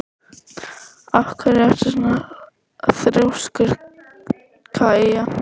Af hverju ertu svona þrjóskur, Kaía?